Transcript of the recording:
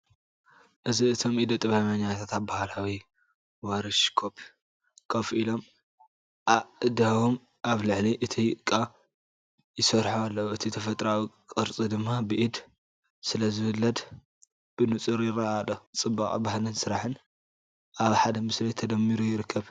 እዚ እቶም ኢደ ጥበበኛታት ኣብ ባህላዊ ወርክሾፕ ኮፍ ኢሎም ኣእዳዎም ኣብ ልዕሊ እቲ ጭቃ ይሰርሑ ኣለው፣ እቲ ተፈጥሮኣዊ ቅርጺ ድማ ብኢድ ስለዝውለድ ብንጹር ይረአ ኣሎ። ጽባቐ ባህልን ስራሕን ኣብ ሓደ ምስሊ ተደሚሩ ይርከብ።